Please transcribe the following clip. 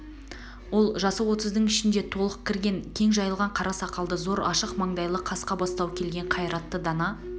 ол жасы отыздың ішіне толық кірген кең жайылған қара сақалды зор ашық маңдайлы қасқа бастау келген қайратты дана